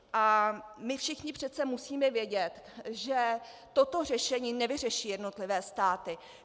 A my všichni přece musíme vědět, že toto řešení nevyřeší jednotlivé státy.